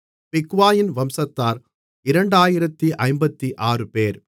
பிக்வாயின் வம்சத்தார் 2056 பேர்